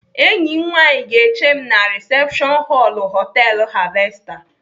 Enyi m nwaanyị ga-eche m na risepshọn họlụ họtelu Harvester.